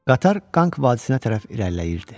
Qatar Qanq vadisinə tərəf irəliləyirdi.